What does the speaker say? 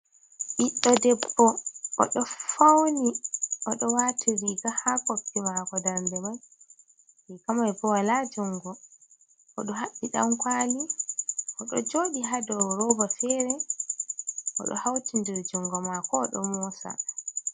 Biddo debbo odo fauni odo watiriga ha koppi mako dardeman, riga mai bo wala jungo, odo habbi dankwali odo jodi ha dau roba fere odo hautindir jungo mako odo mosa.